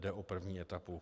Jde o první etapu.